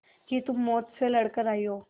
कि तुम मौत से लड़कर आयी हो